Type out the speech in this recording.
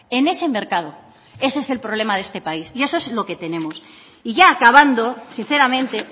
en ese mercado ese es el problema de este país y eso es lo que tenemos y ya acabando sinceramente